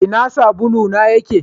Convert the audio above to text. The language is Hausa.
Ina sabulu na yake?